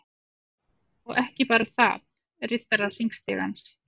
Og ekki bara þaðRiddarar_hringstigans